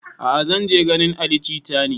A'a zan je ganin ali jita ne